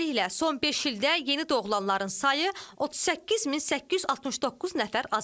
Beləliklə, son beş ildə yeni doğulanların sayı 38869 nəfər azalıb.